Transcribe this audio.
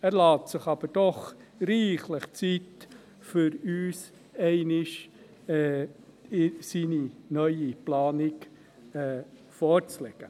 Er lässt sich aber reichlich Zeit, um uns einmal seine neue Planung vorzulegen.